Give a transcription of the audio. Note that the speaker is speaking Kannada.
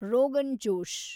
ರೋಗನ್ ಜೋಶ್